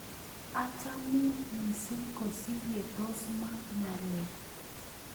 Achamin missing' kosir yetos mwa ng'alek.